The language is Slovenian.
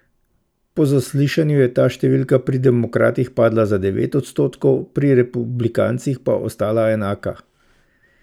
Po zaslišanju je ta številka pri demokratih padla za devet odstotkov, pri republikancih pa ostala enaka.